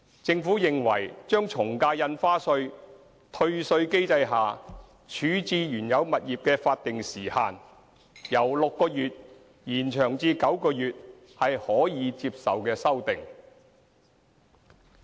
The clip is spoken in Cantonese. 政府認為把從價印花稅退稅機制下處置原有物業的法定時限由6個月延長至9個月是可接受的修訂。